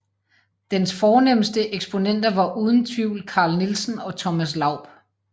Dens fornemste eksponenter var uden tvivl Carl Nielsen og Thomas Laub